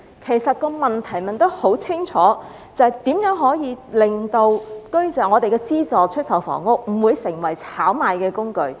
其實問題很清楚，便是如何令資助出售房屋不會成為炒賣的工具？